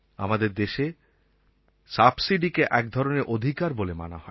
আমাদের দেশে সাবসিডিকে একধরনের অধিকার বলে মানা হয়